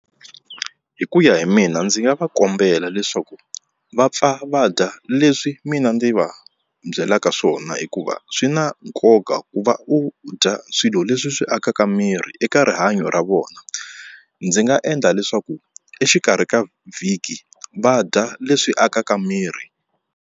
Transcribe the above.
Hi mu ya hi mina ndzi nga va kombela leswaku va pfa va dya leswi mina ndzi va byelaka swona hikuva swi na nkoka ku va u dya swilo leswi swi akaka miri eka rihanyo ra vona ndzi nga endla leswaku exikarhi ka vhiki vadya leswi akaka miri.